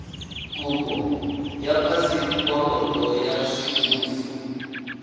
kopo ya phaseporoto ya semmuso